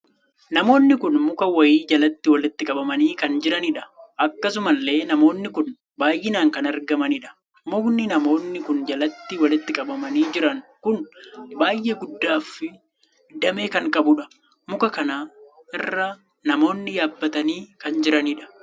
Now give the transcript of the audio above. Namoonni kun muka wayii jalatti walitti qabamanii kan jiranidha. akkasuma illee namoonni kun baay'inaan kan argamanidha. mukni namoonni kun jalatti walitti qabamanii jiran kun baay' ee guddaaf damee kan qabudha. muka kana irra namoonni yaabbatanii kan jiraniidha.